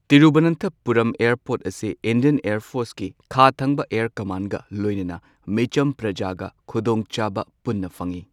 Thiruvananthapuram airport ꯑꯁꯤ Indian air ꯐꯣꯔꯁꯀꯤ ꯈꯥꯊꯪꯕ ꯑꯦꯌꯔ ꯀꯃꯥꯟꯗꯒ ꯂꯣꯏꯅꯅ ꯃꯤꯆꯝ ꯄ꯭ꯔꯖꯥꯒ ꯈꯨꯗꯣꯡꯆꯥꯕ ꯄꯨꯟꯅ ꯐꯪꯏ꯫